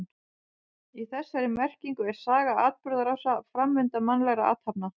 Í þessari merkingu er saga atburðarás, framvinda mannlegra athafna.